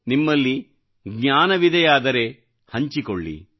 ನಿಮ್ಮಲ್ಲಿ ಜ್ಞಾನವಿದೆಯಾದರೆ ಹಂಚಿಕೊಳ್ಳಿ